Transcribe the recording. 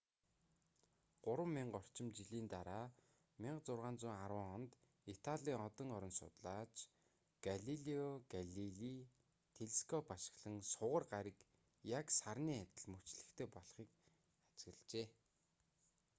гурван мянга орчим жилийн дараа 1610 онд италийн одон орон судлаач галилео галилей телескоп ашиглан сугар гариг яг сарны адил мөчлөгтэй болохыг ажиглажээ